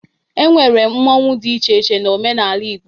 E nwere mmọnwụ dị iche iche n'omenala Igbo.